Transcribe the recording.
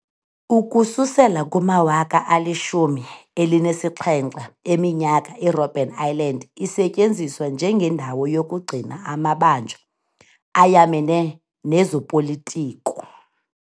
Ukususela kumawaka alishumi elinesixhenxe eminyaka irobben island isetyenziswa njenge ndawo yokugcina amabanjwa ayamene nezopolitiko.